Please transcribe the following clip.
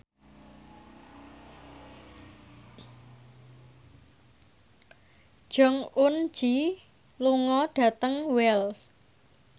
Jong Eun Ji lunga dhateng Wells